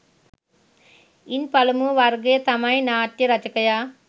ඉන් පළමු වර්ගය තමයි නාට්‍ය රචකයා